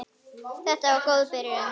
Þetta var góð byrjun.